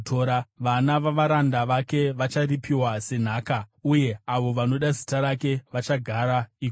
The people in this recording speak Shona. Vana vavaranda vake vacharipiwa senhaka, uye avo vanoda zita rake vachagara ikoko.